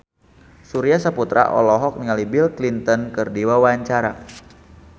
Surya Saputra olohok ningali Bill Clinton keur diwawancara